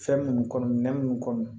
Fɛn munnu kɔnɔ nɛn mun kɔnɔ